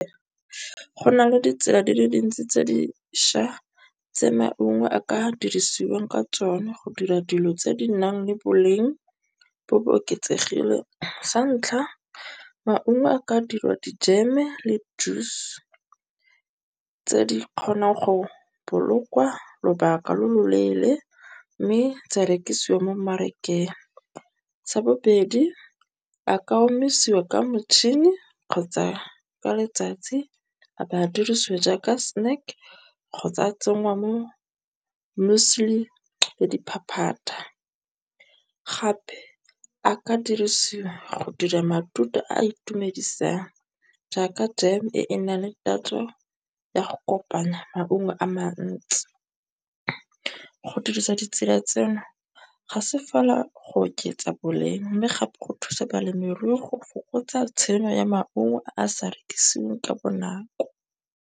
Go na le ditsela di le dintsi tse diša tse maungo a ka dirisiwang ka tsona go dira dilo tse di nang le boleng bo bo oketsegileng. Sa ntlha maungo a ka dirwa di jem-e le juice tse di kgonang go bolokwa lobaka lo lo leele, mme tsa rekisiwa mo mmarakeng. Sa bobedi a Ka omisiwa ka motšhini kgotsa ka letsatsi a ba a dirisiwa jaaka snack kgotsa tsenngwa mo Mueslie le diphaphata. Gape a ka dirisiwa go dira matute a itumedisang, jaaka jam e e nna le tatso ya go kopanya maungo a mantsi. Go dirisa ditsela tseno ga se fela go oketsa boleng, mme gape go thusa balemirui go fokotsa tshenyo ya maungo a sa rekisiweng ka bonako.